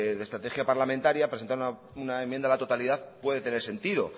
de estrategia parlamentaria presentar una enmienda a la totalidad puede tener sentido